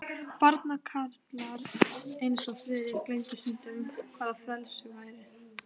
Barnakarlar eins og Friðrik gleymdu stundum, hvað frelsi væri.